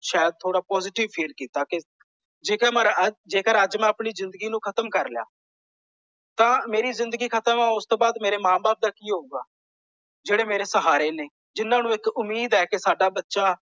ਸ਼ਾਇਦ ਥੋੜਾ positive feel ਕੀਤਾ ਤੇ ਜੇਕਰ ਅੱਜ ਮੈਂ ਆਪਣੀ ਜ਼ਿੰਦਗੀ ਨੂੰ ਖ਼ਤਮ ਕਰ ਲਿਆ। ਤਾਂ ਮੇਰੀ ਜਿੰਦਗੀ ਖਤਮ ਹੈ ਉਸ ਤੋਂ ਬਾਅਦ ਮੇਰੇ ਮਾਂ ਬਾਪ ਦਾ ਕਿ ਹੋਏਗਾ। ਜਿਹੜੇ ਮੇਰੇ ਸਹਾਰੇ ਨੇ। ਜਿਨ੍ਹਾਂ ਨੂੰ ਇੱਕ ਉਮੀਦ ਹੈ ਕਿ ਸਾਡਾ ਬੱਚਾ ।